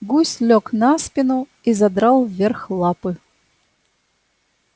гусь лёг на спину и задрал вверх лапы